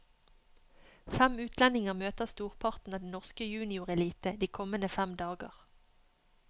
Fem utlendinger møter storparten av den norske juniorelite de kommende fem dager.